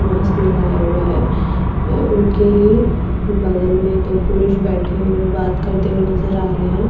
Mask लगाया हुआ है और उनके ही बगल में तो पुरुष बैठे हुए बात करते हुए नजर आ रहे हैं।